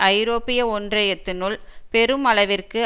ஐரோப்பிய ஒன்றயத்தினுள் பெரும் அளவிற்கு